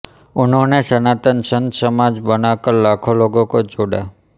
उन्होंने सनातन संत समाज बनाकर लाखों लोगों को जोड़ा